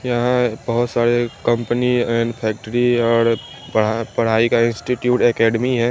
यहां बहोत सारे कंपनी एंड फैक्ट्री औड़ पढ़ा पढ़ाई का इंस्टिट्यूट एकेडमी है।